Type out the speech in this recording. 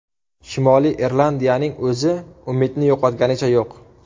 Shimoliy Irlandiyaning o‘zi umidni yo‘qotganicha yo‘q.